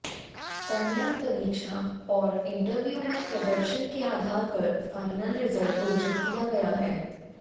online परीक्षा और interview में प्रदर्शन के आधार पर फाइनल रिजल्ट घोषित किया गया है